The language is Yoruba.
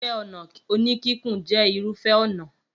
Iṣẹ́-ọnà oníkíkùn jẹ́ irúfẹ́ ọnà.